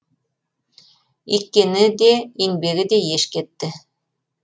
еккені де еңбегі де еш кетті